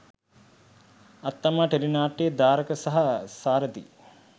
අත්තම්මා ටෙලිනාට්‍යයේ දාරක සහ සාරදී